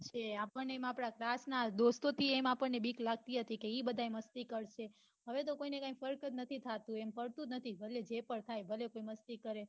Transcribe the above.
કે આપડ ને એમ આપડા class ના દોસ્તો થી પન એમ બીક લગતી હતી કે એ બઘા મસ્તી કરશે હવે તો કોઈ એમ પન નથી થતું એમ કઉ છું